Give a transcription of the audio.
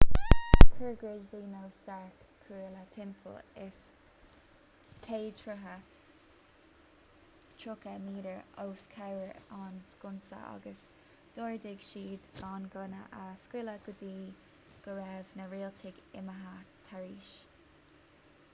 chuir gridley nó stark cuaille timpeall is 100 troith 30 m os comhair an sconsa agus d'ordaigh siad gan gunna a scaoileadh go dtí go raibh na rialtaigh imithe thairis